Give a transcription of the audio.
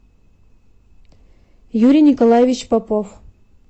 юрий николаевич попов